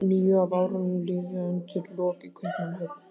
Níu af árunum mínum liðu undir lok í Kaupmannahöfn.